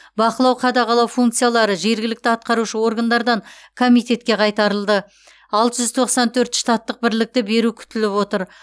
бақылау қадағалау функциялары жергілікті атқарушы органдардан комитетке қайтарылды алты жүз тоқсан төрт штаттық бірлікті беру күтіліп отыр